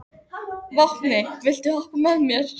Vápni, viltu hoppa með mér?